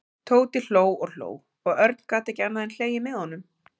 Tóti hló og hló og Örn gat ekki annað en hlegið með honum.